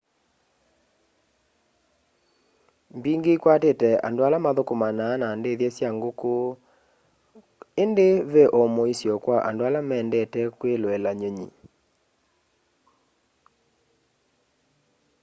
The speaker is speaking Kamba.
mbingi ikwatite andu ala mathukumanaa na ndithya sya nguku indi ve o muisyo kwa andu ala mendete kwiloela nyunyi